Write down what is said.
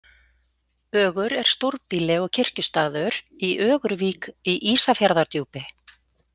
Ögur er stórbýli og kirkjustaður í Ögurvík í Ísafjarðardjúpi.